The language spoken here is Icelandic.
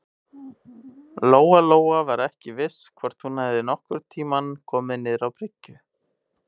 Lóa-Lóa var ekki viss hvort hún hefði nokkurn tíma komið niður á bryggju.